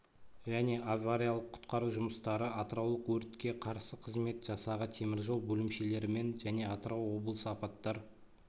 және авариялық-құтқару жұмыстары атыраулық өртке қарсы қызмет жасағы темір жол бөлімшелерімен және атырау облысы апаттар